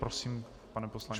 Prosím, pane poslanče.